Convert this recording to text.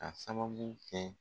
Ka sababu kɛ